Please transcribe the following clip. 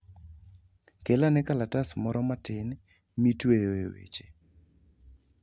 Kel ane kalatas moro matin mitweyoe weche.